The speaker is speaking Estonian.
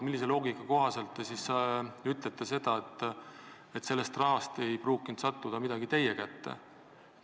Millise loogika kohaselt te ütlete, et sellest rahast ei pruukinud midagi teie kätte sattuda?